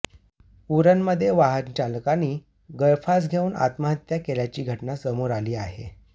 उरणमध्ये वाहनचालकानी गळफास घेऊन आत्महत्या केल्याची घटना समोर आली आहे